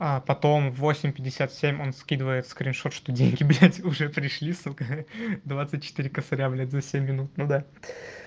а потом в восемь пятьдесят семь он скидывает скриншот что деньги блять уже пришли сука двадцать четыре косаря блять за семь минут ну да